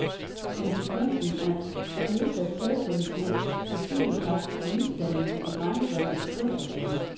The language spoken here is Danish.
Konsekvensen er nedsat sædkvalitet, testikelkræft og misdannelser i drengebørns kønsorganer.